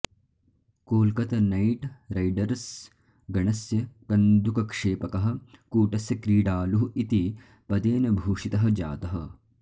Kolkata knight riders गणस्य कन्दुकक्षेपकः कूटस्य क्रीडालुः इति पदेन भूषितः जातः